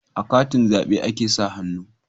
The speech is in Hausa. A katin zabe a ke sa hannu